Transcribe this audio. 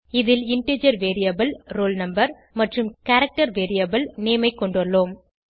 இதில் integer variable roll no மற்றும் character variable name ஐ கொண்டுள்ளோம்